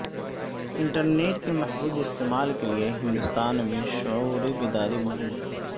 internet کے محفوظ استعمال کے لیے ہندوستان میں شعور بیداری مہم